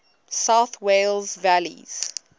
south wales valleys